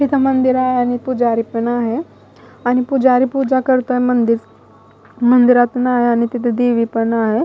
इथं मंदिर आहे आणि पुजारी पण आहे आणि पुजारी पूजा करतोय मंदिर मंदिरात नाय आणि तिथे देवी पण आहे.